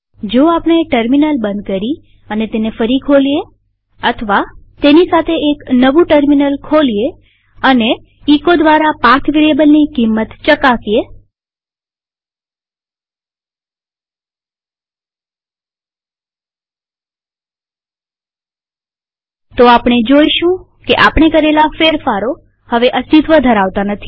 જો આપણે ટર્મિનલ બંધ કરી અને તેને ફરી ખોલીએ અથવા તેની સાથે એક નવું ટર્મિનલ ખોલીએ અને એચો દ્વારા પાથ વેરીએબલની કિંમત ચકાસીએ તો આપણે જોઈશું કે આપણે કરેલા ફેરફારો હવે અસ્તિત્વ ધરાવતા નથી